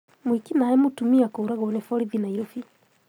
Mwĩki naĩ mũtumia kũragwo nĩ borithi Nairobi